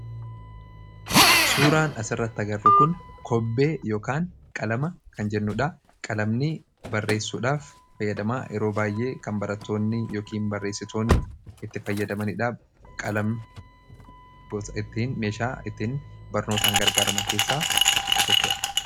suuraan as irratti agarru kun kobbee ykaan qalama kan jennuudha qalamni barreessuudhaaf fayyadamaa yeroo baay'ee kan barattoonni yookiin barreessitoonni itti fayyadamaniidhaa qalam gosa ittiin meeshaa ittiin barnootaan gargaaraman keessaa isa tokko dha